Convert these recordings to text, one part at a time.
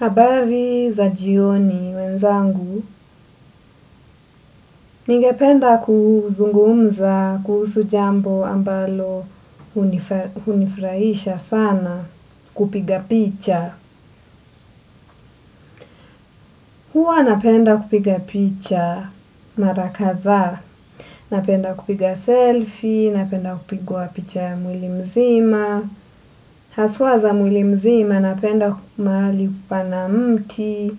Habari za jioni wenzangu, ningependa kuzungumza, kuhusu jambo ambalo hunifurahisha sana, kupiga picha. Huwa napenda kupiga picha mara kadhaa, napenda kupiga selfie, napenda kupigwa picha ya mwili mzima. Haswa za mwili mzima napenda mahali pana mti,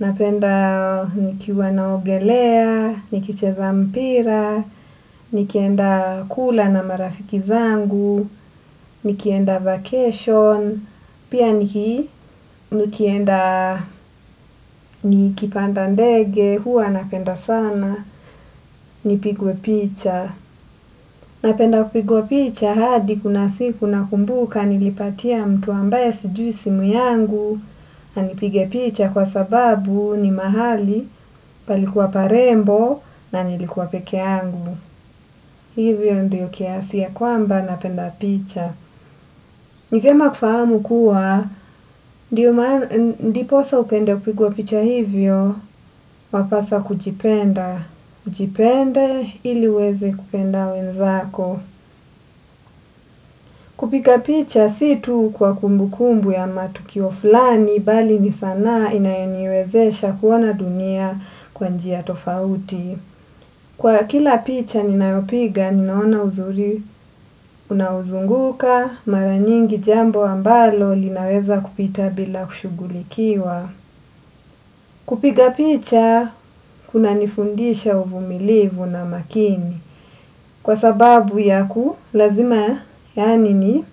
napenda nikiwa naogelea, nikicheza mpira, nikienda kula na marafiki zangu, nikienda vacation, pia nikienda nikipanda ndege, huwa napenda sana, nipigwe picha. Napenda kupigwa picha hadi kuna siku na kumbuka nilipatia mtu ambaye sijui simu yangu. Anipige picha kwa sababu ni mahali palikuwa parembo na nilikuwa peke yangu. Hivyo ndiyo kiasia ya kwamba napenda picha. Ni vyema kufahamu kuwa ndiposa upende kupigwa picha hivyo wapaswa kujipenda, ujipende ili uweze kupenda wenzako. Kupiga picha si tu kwa kumbukumbu ya matukio fulani bali ni sana inayoniwezesha kuona dunia kwa njia tofauti. Kwa kila picha ninaopiga ninaona uzuri unauzunguka mara nyingi jambo ambalo linaweza kupita bila kushughulikiwa. Kupika picha kunanifundisha uvumilivu na makini. Kwa sababu yaku, lazima, yaani ni,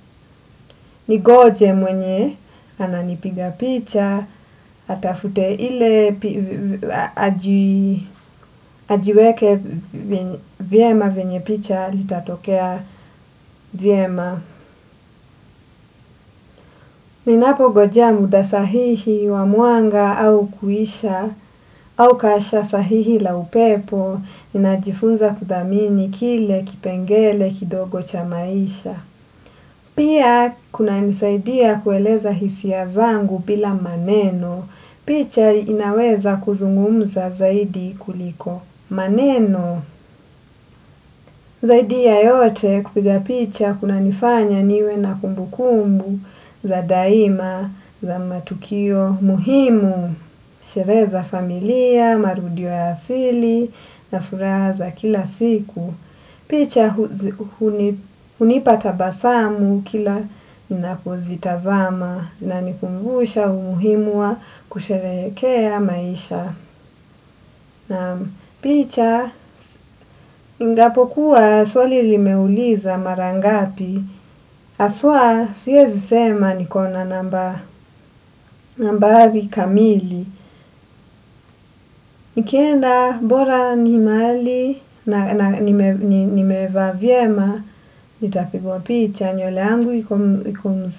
ningoje mwenye ananipiga picha, atafute ile, ajiweke vyema venyenpicha litatokea vyema. Ninapongojea muda sahihi wa mwanga au kuisha, au kasha sahihi la upepo, ninajifunza kuthamini kile kipengele kidogo cha maisha. Pia kunanisaidia kueleza hisia zangu bila maneno. Picha inaweza kuzungumza zaidi kuliko. Maneno, zaidi ya yote kupiga picha kunanifanya niwe na kumbukumbu za daima za matukio muhimu. Sherehe za familia, marudio ya asili, na furaha za kila siku. Picha hunipa tabasamu kila ninapozitazama. Zinanikumbusha, umuhimu wa kusherehekea maisha. Picha ingapokuwa swali limeuliza mara ngapi haswa siezi sema niko na nambari kamili. Nikienda bora ni mahali nimevaa vyema, nitapigwa picha, nywele yangu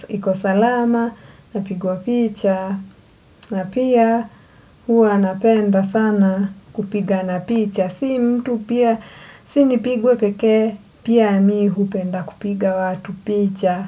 iko salama, napigwa picha, na pia huwa napenda sana kupigana picha, si mtu pia, si nipigwe pekee, pia mi hupenda kupiga watu picha.